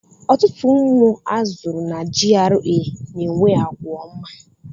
Ọtụtụ ụmụ azụrụ na GRA na-enwe àgwà ọma.